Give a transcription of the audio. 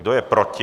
Kdo je proti?